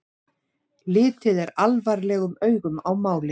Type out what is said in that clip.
Litið er alvarlegum augum á málið